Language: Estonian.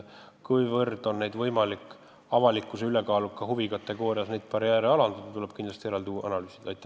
Kas neid tuleks avalikkuse ülekaaluka huvi tõttu alandada, seda tuleb kindlasti eraldi analüüsida.